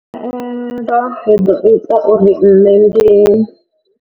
Khaelo i ḓo ita uri nṋe ndi.